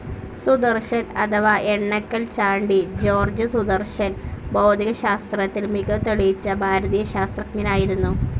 സുദർശൻ അഥവാ എണ്ണക്കൽ ചാണ്ടി ജോർജ് സുദർശൻ ഭൗതികശാസ്ത്രത്തിൽ മികവ് തെളിയിച്ച ഭാരതീയ ശാസ്ത്രജ്ഞനായിരുന്നു.